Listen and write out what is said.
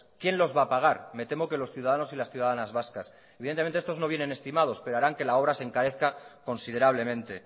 quién los va a pagar me temo que los ciudadanos y las ciudadanas vascas evidentemente estos no vienen estimados pero harán que la obra se encarezca considerablemente